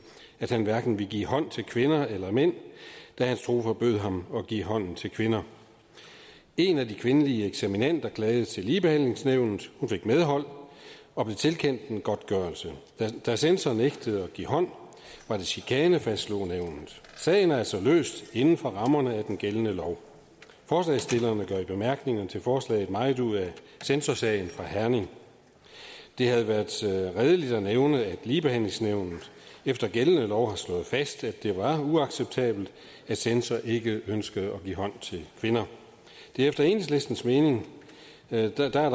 at han hverken ville give hånd til kvinder eller mænd da hans tro forbød ham at give hånd til kvinder en af de kvindelige eksaminander klagede til ligebehandlingsnævnet hun fik medhold og blev tilkendt en godtgørelse da censor nægtede at give hånd var det chikane fastslog nævnet sagen er altså løst inden for rammerne af den gældende lov forslagsstillerne gør i bemærkningerne til forslaget meget ud af censorsagen fra herning det havde været redeligt at nævne at ligebehandlingsnævnet efter gældende lov har slået fast at det var uacceptabelt at censor ikke ønskede at give hånd til kvinder efter enhedslistens mening er der der